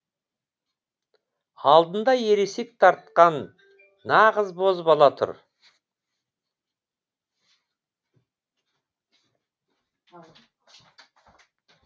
алдында ересек тартқан нағыз бозбала тұр